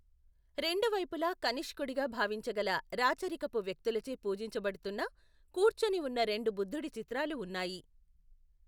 రెండు వైపులా కనిష్కుడిగా భావించగల రాచరికపు వ్యక్తులచే పూజించబడుతున్న కూర్చొని ఉన్న రెండు బుద్ధుడి చిత్రాలు ఉన్నాయి.